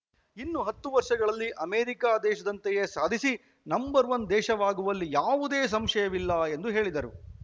ಇನ್ನು ಹತ್ತು ವರ್ಷಗಳಲ್ಲಿ ಅಮೆರಿಕ ದೇಶದಂತೆಯೇ ಸಾಧಿಸಿ ನಂಬರ್‌ ಒನ್ ದೇಶವಾಗುವಲ್ಲಿ ಯಾವುದೇ ಸಂಶಯವಿಲ್ಲ ಎಂದು ಹೇಳಿದರು